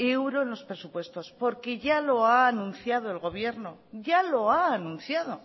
euro en los presupuestos porque ya lo ha anunciado el gobiern